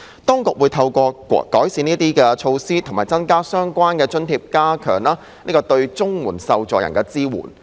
當局會透過改善這些措施和增加相關津貼，以加強對綜援受助人的支援。